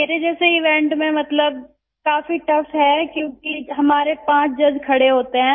मेरे जैसे इवेंट में मतलब काफी टाउघ है क्योंकि हमारे पांच जज खड़े होते हैं